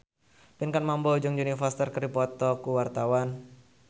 Pinkan Mambo jeung Jodie Foster keur dipoto ku wartawan